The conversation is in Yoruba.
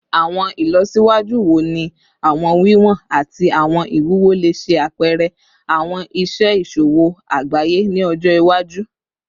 Awọn ilọsiwaju wo ni awọn wiwọn ati awọn iwuwo le ṣe apẹrẹ awọn iṣe iṣowo agbaye ni ọjọ iwaju?